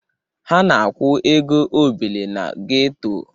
Ha na-akwụ ego obele na geto.